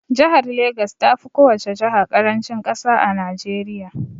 Jahar Legas tafi kowace jaha ƙarancin ƙasa a Najeriya